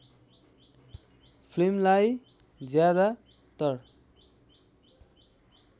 फिल्मलाई ज्यादातर